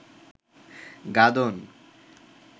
গাদন